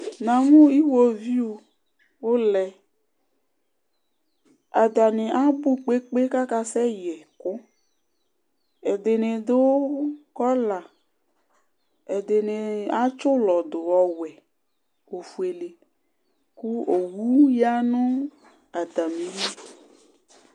Namʋ iwoviu ulɛ atani abʋ kpe kpe kpe kv aka sɛ yɛ ɛkʋ ɛdini du kɔla ɛdini atsi ʋlɔdu ɔwɛ ofuele kʋ owʋ yanʋ atamili